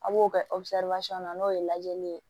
A b'o kɛ na n'o ye lajɛli ye